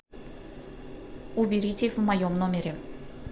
уберите в моем номере